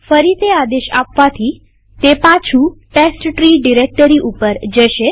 ફરી તે આદેશ આપવાથી તે પાછું ટેસ્ટટ્રી ડિરેક્ટરી ઉપર લઇ જશે